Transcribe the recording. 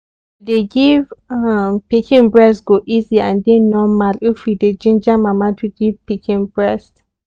dey give um pikin breast go easy and dey normal if we dey ginja mama to give pikin breast